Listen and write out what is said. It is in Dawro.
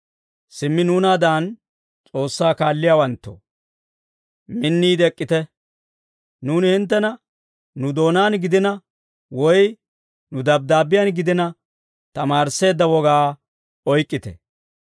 Simmi nuunaadan S'oossaa kaalliyaawanttoo, minniide ek'k'ite; nuuni hinttena nu doonaan gidina, woy nu dabddaabbiyaan gidina, tamaarisseedda wogaa oyk'k'ite.